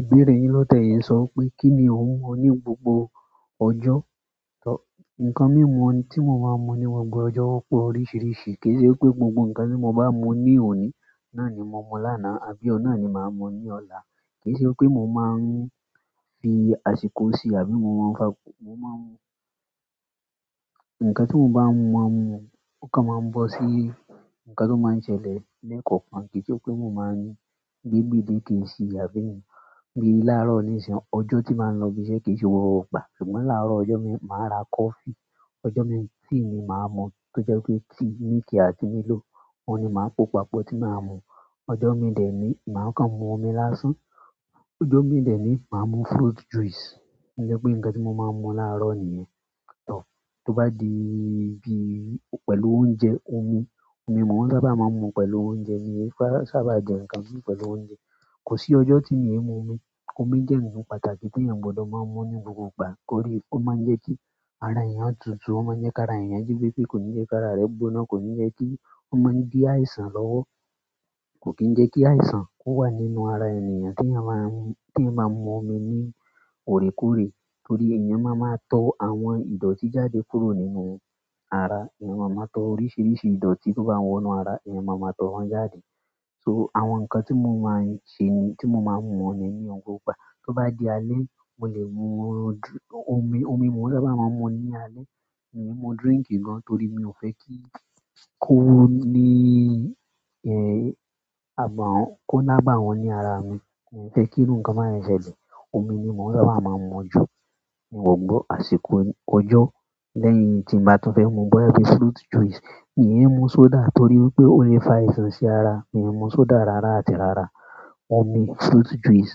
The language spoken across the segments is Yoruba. Ìbéèrè yin lote yi nso wípé, kini o nwo ni gbogbo ojo? Nkan mimu, ti mo maa mu ni gbogbo ojo, o po ni oríṣiríṣi. Kii se pe gbogbo nkan ti mo ba mu ni oni, náà ni mo mu lana àbí oun náà ni maa mu ni ola. Kìí ṣe pé mo máa ń fi àsìkò sí i àbí mo máa ń fa-- mo máa ń. Ǹkan tí mo bá máa ń mu, ó kan máa ń bọ́ sí ǹkan tó máa ń ṣẹlẹ̀ lẹ́ẹ̀kan kan. Kìí ṣe pé mo máa ń gbigbe ìdè kìí sì, àbí ni gbé láàárọ̀ ní ṣin. Ọjọ́ tí màá ń lọ ibi iṣẹ́ kìí ṣe gbogbo ìgbà. Ṣùgbọ́n láàárọ̀ ọjọ́ mi, màá ra coffee. Ọjọ́ mi, tíì ni màá mu, tó jẹ́ pé tíì miliki àti Milo, oun ni màá po papọ̀ tí màá mu. Ọjọ́ mi dè é ní, màá kàn mu omi lásán. Ọjọ́ mi dè ẹ́ ní, màá mu fruit juice. Ǹjẹ́ pé ǹkan tí mo máa ń mu láàárọ̀ nìyẹn. Tọ́ bá di bí pẹ̀lú oúnjẹ, omi, omi mò ń sábà máa ń mu pẹ̀lú oúnjẹ. Mi o sábà jẹ ǹkan mii pẹ̀lú oúnjẹ. Kosi ojo ti mi i mu omi. Omi jẹ́ ǹkan pàtàkì tí èèyàn gbọdọ̀ máa ń mu ní gbogbo ìgbà. Torí, ó máa ń jẹ́ kí ara èèyàn tutù, ó máa ń jẹ́ kí ara èèyàn jí pepé, kò ní jẹ́ kí ara rẹ gbóná, kò ní jẹ́ kí. Ó máa ń dí àìsàn lọ́wọ́. Kò kì í jẹ́ kí àìsàn kó wà nínú ara ènìyàn tí èèyàn bá ń mu, tí ẹ̀eyan máa ń mu omi ní òorékooré. Torí èèyàn máa ń máa tó àwọn ìdotí jáde kúrò nínú ara. Ẹ̀yàn máa ń máa tó oríṣiríṣi ìdotí tó bá n wọ inú ara, eẹ̀yàn máa ma tó wọn jáde. So àwọn ǹkan tí mo máa ń ṣe ni, tí mo máa ń mu ní gbọ̀gbo gba. Tó bá di alẹ́, mò lè mu, omi, omi mò ń sábà máa ń mu ní alẹ́. Mi ò mu drink gan torí mi ò fẹ́ kí kó wọ ní ẹ̀, àbàwọ́n, kó lábàwọ́n ní ara mi. Èmi fẹ́ kí irú ǹkan máà yẹn ṣẹlẹ̀. Omi ni mò ń sábà máa ń mu jù. Mi ò gbọ́ àsìkò ọjọ́ lẹ́yìn tí n bá tún fẹ́ mu bọ́yá bí fruit juice. Mi o mú soda torí pé ó lè fa àìsàn sí ara. Mi ò mú soda rárá àti rárá. Omi, fruit juice,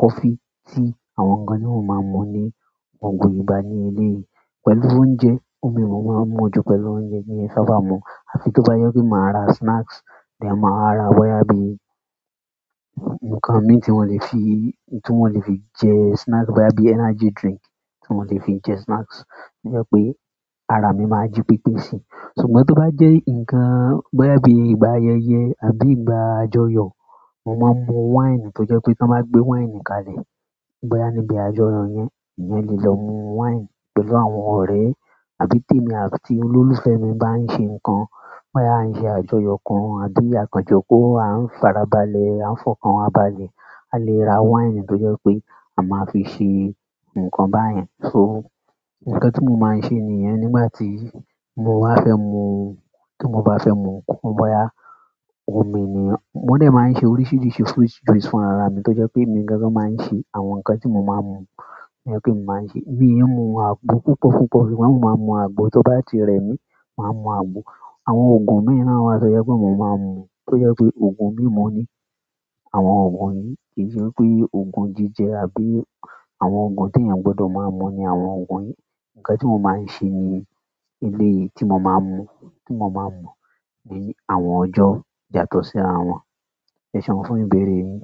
kofi, tíì, àwọn ǹkan ní mo máa ń mu ní gbogbo ìgbà ní eléyìí. Pẹ̀lú oúnjẹ, omi mò ń máa ń mu jù pẹ̀lú oúnjẹ mi o kin sábà mu. Àfi tó bá jẹ pe màá ra snacks, then màá wa ra bọ́yá bí ǹkan mì tí mo lè fi, tí mo lè fi jẹ snacks, bọ́yá bí energy drink tí mo lè fi jẹ snacks. To jẹ́ pé ara mi máa jí pepé sí i. Ṣùgbọ́n tó bá jẹ́ ǹkan bọ́yá bí ìgbà ayẹyẹ àbí ìgbà àjọyọ̀, mo máa ń mu wáìnì tó jẹ́ pé tí wọ́n bá gbé wáìnì kalẹ̀, bọ́yá níbi àjọyọ̀ yẹn, èèyàn lè lọ mu wáìnì pẹ̀lú àwọn ọ̀rẹ́ àbí tèmi àtí olólùfẹ́ mi bá ń ṣe ǹkan, bọ́yá à ń ṣe àjọyọ̀ kan àbí à kàn joko a ń farabalẹ̀, a ń fọ́kan wa balẹ̀, a lè ra wáìnì tó jẹ́ pé a máa fi ṣe ǹkan báyẹn. So ǹkan tí mo máa ń ṣe nìyẹn nígbà tí mo wá fẹ́ mu, tí mo bá fẹ́ mu, kó bọ́yá omi nì. Mo dè ẹ́ máa ń ṣe oríṣiríṣi fruit juice fún ara mi, tó jẹ́ pé èmi gangan máa ń ṣe àwọn ǹkan tí mo máa ń mu. To jẹ́ pé emi màá ń ṣe. Bi iru àgbo púpọ̀púpọ̀, ṣùgbọ́n mò ń máa ń mu àgbo. Tó bá ti rẹ mí, màá mu àgbo. Àwọn ògùn mii náà wa tọ jẹ mo máa ń mu, tó jẹ́ pé ògùn mímu ni àwọn ògùn yìí. Kì í sẹ́ pé ògùn jíjẹ àbí àwọn ògùn tí èèyàn gbọdọ̀ máa ń mu ni àwọn ògùn yìí. Ǹkan tí mo máa ń ṣe ní eléyìí tí mo máa ń mu, tí mo máa ń mu ni àwọn ọjọ́ jàtọ̀ sí ara wọn. Eseun fún ìbéèrè yin.